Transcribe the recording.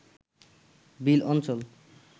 বিল অঞ্চল